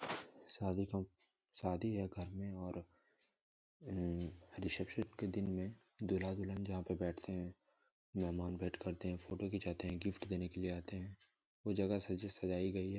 शादी का शादी है घर मे और रेसेपसन के दिन मे दूल्हा दुल्हन जहां पे बैठते है मेहमान वेट करते है फ़ोटो खिचाते है गिफ्ट देने के लिए आते है वो जगह अच्छे से सजाई गई है।